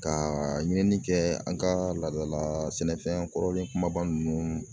Ka ɲini kɛ an ka laadala sɛnɛfɛn kɔrɔlen kumaba nunnu